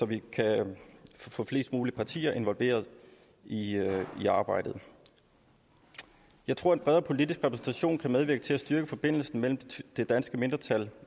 vi kan få flest mulige partier involveret i arbejdet jeg tror at en bredere politisk repræsentation kan medvirke til at styrke forbindelsen mellem det danske mindretal